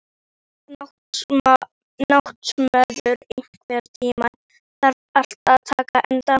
Náttmörður, einhvern tímann þarf allt að taka enda.